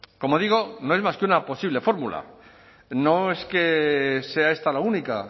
como digo no es más que una posible fórmula no es que sea esta la única